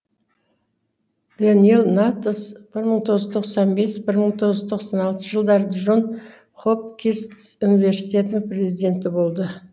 даниел натанс бір мың тоғыз жүз тоқсан бес бір мың тоғыз жүз тоқсан алтыншы жылдары джон хопкинс университетінің президенті болды